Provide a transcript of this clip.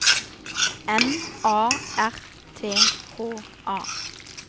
M A R T H A